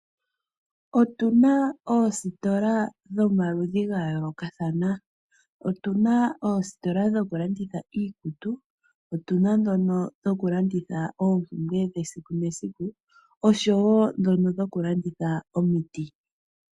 Otu na oositola dhomaludhi ga yoolokathana. Otu na oositola dhokulanditha iikutu, otu na dhono dhokulanditha oompumbwe dhesiku nesiku, oshowo dhono dhokulanditha omiti.